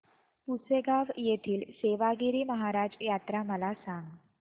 पुसेगांव येथील सेवागीरी महाराज यात्रा मला सांग